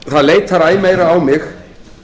það leitar æ meira á mig